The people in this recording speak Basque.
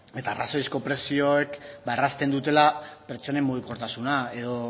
eta arrazoizko prezioek errazten dutela pertsonen mugikortasuna edo